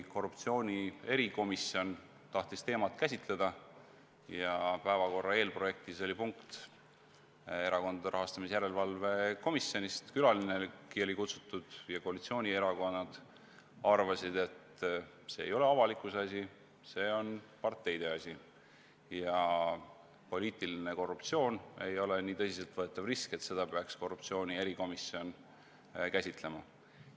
Korruptsiooni erikomisjon tahtis teemat käsitleda ja päevakorra eelprojektis oli punkt Erakondade Rahastamise Järelevalve Komisjonist, külalinegi oli kutsutud, aga koalitsioonierakonnad arvasid, et see ei ole avalikkuse asi, see on parteide asi ja poliitiline korruptsioon ei ole nii tõsiselt võetav risk, et seda peaks korruptsiooni erikomisjon käsitlema.